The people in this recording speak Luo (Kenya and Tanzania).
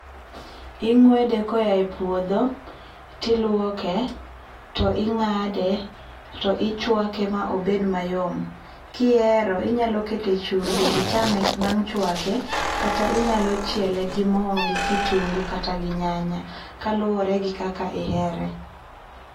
Ing'wede koya e puodho to iluoke, to ing'ade to ichwake ma obed mayom. Kihero inyalo kete chumbi ichame bang' chwake kata inyalo chiele gi moo gi kitungu kata gi nyanya, kaluore gi kaka ihere